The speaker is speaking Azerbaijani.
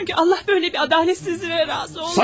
Çünkü Allah böyle bir adaletsizliğe razı olmaz.